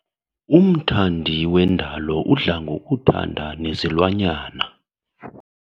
Umthandi wendalo udla ngokuthanda nezilwanyana.